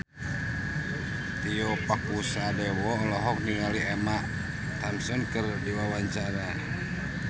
Tio Pakusadewo olohok ningali Emma Thompson keur diwawancara